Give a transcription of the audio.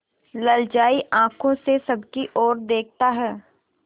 ललचाई आँखों से सबकी और देखता है